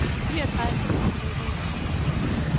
fireogtredive tusind to hundrede og toogtres